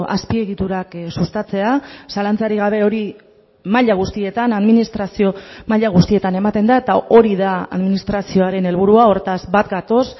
azpiegiturak sustatzea zalantzarik gabe hori maila guztietan administrazio maila guztietan ematen da eta hori da administrazioaren helburua hortaz bat gatoz